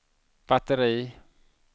batteri